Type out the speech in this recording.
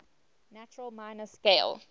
natural minor scale